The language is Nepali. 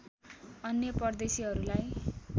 अन्य परदेशीहरूलाई